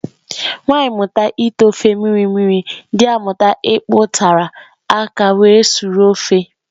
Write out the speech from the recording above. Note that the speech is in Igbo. Nwanyị mụta ite ofe mmiri mmiri, dị amụta ịpi utara aka were sụrụ ofe